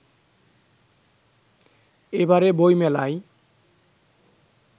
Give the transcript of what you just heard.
এবারে বই মেলায়